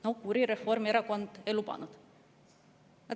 "No kuri Reformierakond ei lubanud!